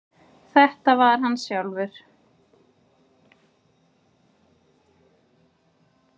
Þetta var hann sjálfur.